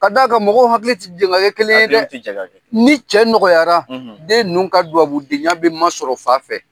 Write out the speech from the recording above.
Ka d'a kan mɔgɔw hakili tɛ jɛ ka kɛ kelen ye dɛ. Hakili tɛ jɛ ka kɛ. Ni cɛ nɔgɔyara , den ninnu ka duwabudenya bɛ masɔrɔ fa fɛ.